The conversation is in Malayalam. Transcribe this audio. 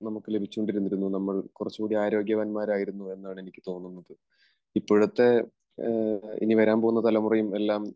നമുക്ക് ലഭിച്ചുകൊണ്ടിരുന്നു, നമ്മൾ കുറച്ചുകൂടി ആരോഗ്യവാന്മാരായിരുന്നു എന്നാണ് എനിക്ക് തോന്നുന്നത്. ഇപ്പോഴത്തെ ഇനി വരാൻ പോകുന്ന തലമുറയും എല്ലാം